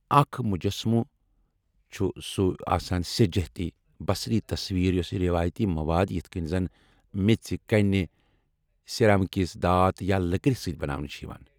اکھ مجسمہٕ چھ سُہ آسان ثہ جہتی بصری تصویر یۄسہٕ روایتی مواد یتھ کٔنۍ زَن میٚژِ، کنہِ، سیرامکس، دھات یا لٔکرِ سۭتۍ بناونہٕ چھِ یوان ۔